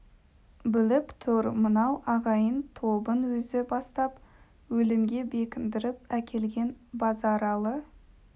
біліп тұр мынау ағайын тобын өзі бастап өлімге бекіндіріп әкелген базаралы